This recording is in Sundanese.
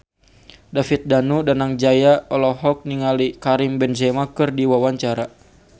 David Danu Danangjaya olohok ningali Karim Benzema keur diwawancara